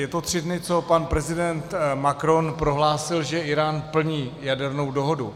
Je to tři dny, co pan prezident Macron prohlásil, že Írán plní jadernou dohodu.